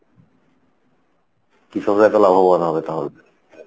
কৃষকরা তো লাভবান হবে তাহলে,